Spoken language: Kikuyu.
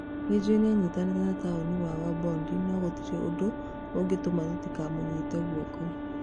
Nĩ njũĩ nĩanyitanĩte na taũni wa Wabondi no gũtirĩ ũndũ ũgĩtũma tũtikamũnyite guoko.